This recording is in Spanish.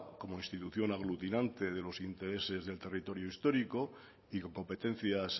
como institución aglutinante de los intereses del territorio histórico y con competencias